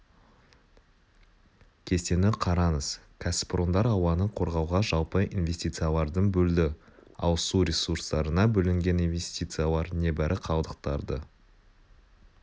кестені қараңыз кәсіпорындар ауаны қорғауға жалпы инвестициялардың бөлді ал су ресурстарына бөлінген инвестициялар небәрі қалдықтарды